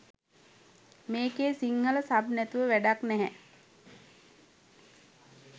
මේකේ සිංහල සබ් නැතුව වැඩක් නැහැ